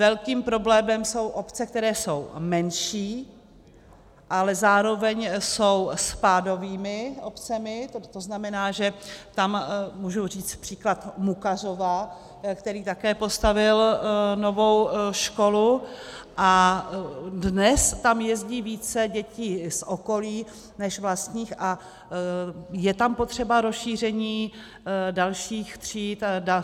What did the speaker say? Velkým problémem jsou obce, které jsou menší, ale zároveň jsou spádovými obcemi, to znamená, že tam mohu říci příklad Mukařov, který taky postavil novou školu, a dnes tam jezdí více dětí z okolí než vlastních a je tam potřeba rozšíření dalších tříd.